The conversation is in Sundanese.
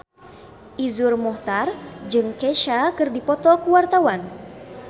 Iszur Muchtar jeung Kesha keur dipoto ku wartawan